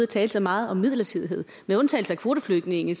tale så meget om midlertidighed med undtagelse af kvoteflygtninge